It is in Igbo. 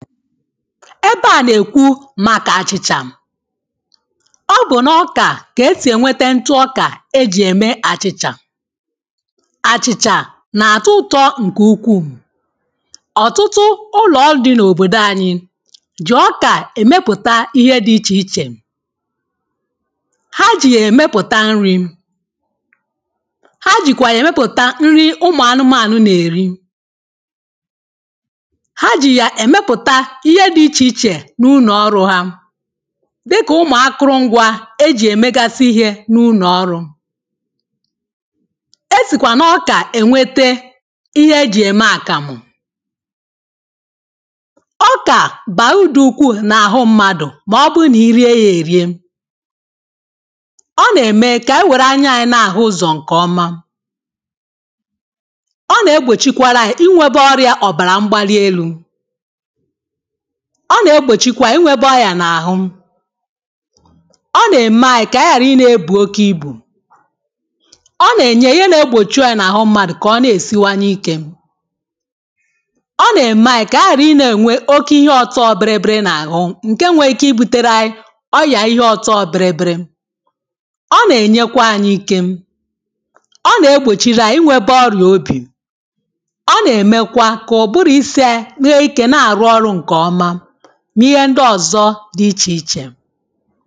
ebe a na-ekwu màkà achị̇chà ọ bụ̀ na ọkà kà esì ènwete ntụ ọkà e jì ème àchị̇chà àchị̇chà nà-àtọ ụtọ ǹkè ukwuu ọ̀tụtụ ụlọ̀ ọlụ̇ dị n’òbòdò anyị jì ọkà èmepùta ihe dị ichè ichè ha jì yà èmepùta nrị̇ ha jìkwà yà èmepùta nrị ụmụ̀ anụmànụ nà-èri ihe dị ichè ichè n’ụlọ̀ọrụ̇ ha dịkà ụmụ̀ akụrụ ngwȧ ejì èmegasị ihe n’ụlọ̀ọrụ̇ esìkwà n’ọkà ènwete ihe ejì ème àkàmụ̀ ọkà bàrudu ukwuù n’àhụ mmadụ̀ mà ọbụrụ nà i rie ya èrie ọ nà-ème kà ànyị wère anya anyị̇ na-àhụ ụzọ̀ ǹkè ọma ọ nà-egbòchikwara anyị̇ inwėbė ọrịȧ ọ̀bàrà mgbalielu ọ na-egbochikwa inwebe ọya na-ahụ ọ na-eme anyị ka anyị ghara ị na-ebu oke ibù ọ na-enye ihe na-egbochị oyė na-ahụ mmadụ ka ọ na-esiwanye ike ọ na-eme anyị ka anyị ghara ị na-enwe oke ihe ọtọ obere biri biri na ahụ nke nweike ibutere ọya ihe ọtọ biri biri ọ na-enyekwa anyị ike ọ na-egbochiri anyị inwebe ọrịà obì dị ichè ichè.